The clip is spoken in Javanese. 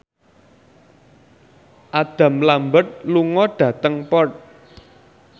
Adam Lambert lunga dhateng Perth